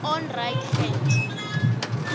on right hand